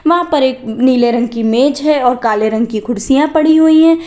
वहां पर एक नीले रंग की मेज है और काले रंग की कुर्सियां पड़ी हुई हैं।